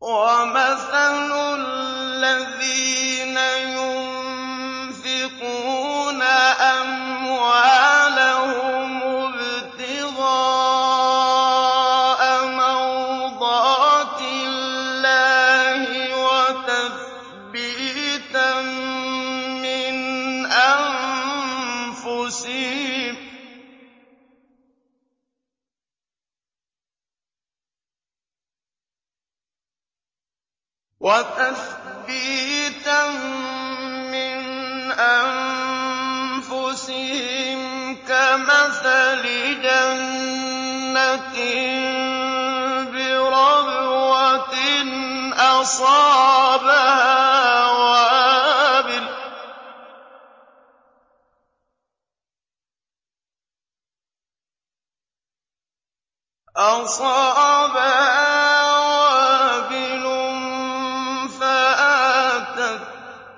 وَمَثَلُ الَّذِينَ يُنفِقُونَ أَمْوَالَهُمُ ابْتِغَاءَ مَرْضَاتِ اللَّهِ وَتَثْبِيتًا مِّنْ أَنفُسِهِمْ كَمَثَلِ جَنَّةٍ بِرَبْوَةٍ أَصَابَهَا وَابِلٌ فَآتَتْ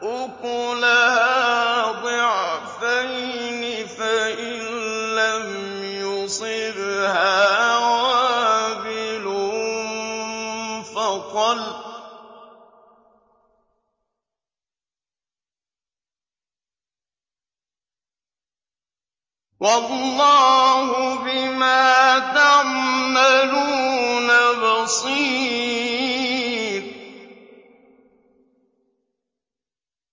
أُكُلَهَا ضِعْفَيْنِ فَإِن لَّمْ يُصِبْهَا وَابِلٌ فَطَلٌّ ۗ وَاللَّهُ بِمَا تَعْمَلُونَ بَصِيرٌ